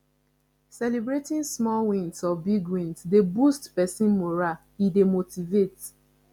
celebrating small wins or big wins dey boost person moral e dey motivate